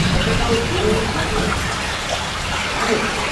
بہٕ کرناوٕ ضروٗر جلدٕیہ ویکسیٖن، مہ ہےٚ فکر۔